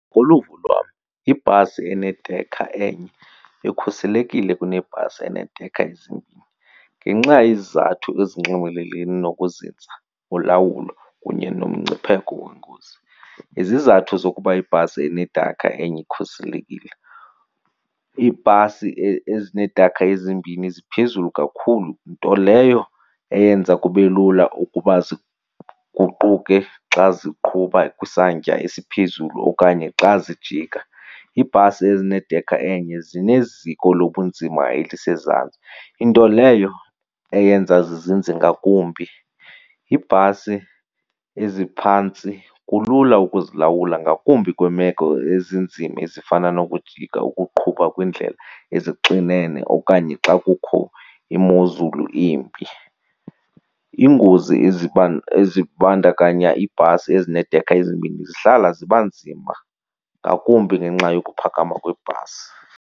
Ngokoluvo lwam ibhasi enedekha enye ikhuselekile kunebhasi eneedekha ezimbini ngenxa yezizathu ezinxumelene nokuzinza, ulawulo kunye nomngcipheko wengozi. Izizathu zokuba ibhasi enedekha enye ikhuselekile, iibhasi ezineedekha ezimbini ziphezulu kakhulu, nto leyo eyenza kube lula ukuba ziguquke xa ziqhuba kwisantya esiphezulu okanye xa zijika. Iibhasi ezinedekha enye zineziko lobunzima elisezantsi, into leyo eyenza zizinze ngakumbi. Iibhasi eziphantsi kulula ukuzilalwula ngakumbi kwiimeko ezinzima ezifana nokujika ukuqhuba kwiindlela ezixinene okanye xa kukho imozulu embi. Iingozi ezibandakanya iibhasi ezineedekha ezimbini zihlala ziba nzima ngakumbi ngenxa yokuphakama kwebhasi.